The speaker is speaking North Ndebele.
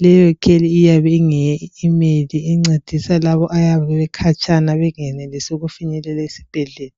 LeyiLeyo kheli iyabe ingeye email incedisa labo abayabe bekhatshana bengenelisi ukufinyelela esibhedlela.